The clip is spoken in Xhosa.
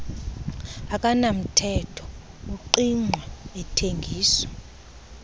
akanamthetho ungqingqwa athengiswa